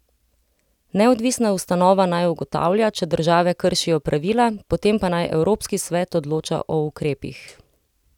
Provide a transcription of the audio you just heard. Neodvisna ustanova naj ugotavlja, če države kršijo pravila, potem pa naj Evropski svet odloča o ukrepih.